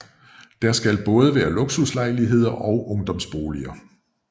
Der skal både være luksuslejligheder og ungdomsboliger